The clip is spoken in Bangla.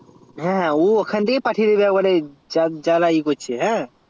হ্যাঁ ও ওখান থেকেই পাঠিয়ে দেবে যা লাগবে